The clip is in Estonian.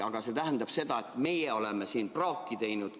Aga see tähendab seda, et meie oleme praaki teinud.